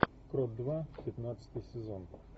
кровь два пятнадцатый сезон